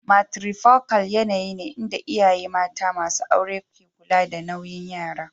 Matrifocal yanayi ne inda iyaye mata masu aure ke kula da nauyin yara.